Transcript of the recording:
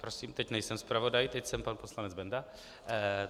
Prosím, teď nejsem zpravodaj, teď jsem pan poslanec Benda.